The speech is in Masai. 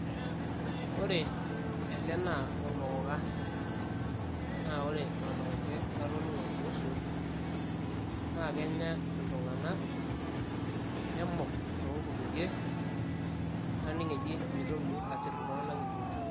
Ore ele naa ormokoka naa ore ormarenke latoning'o kuhusu naa kenya iltunganak, nemuk too nkutukie naning eji mitoki atir iltunganak injo .